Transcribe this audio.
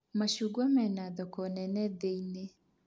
Macungwa mena thoko nene thĩĩ-inĩ